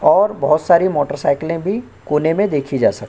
और बोहोत सारी मोटर साइकिले भी कोने मे देखी जा सक --